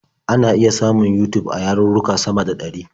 Ana iya samun Yutub a yarurruka sama da ɗari.